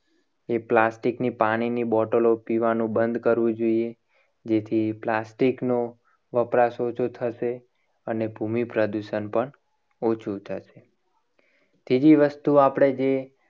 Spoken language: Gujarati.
એ plastic ની પાણીની બોટલો પીવાનું બંધ કરવું જોઈએ. જેથી plastic નો વપરાશ ઓછો થશે. અને ભૂમિ પ્રદૂષણ પણ ઓછું થશે. ત્રીજી વસ્તુ આપણે જે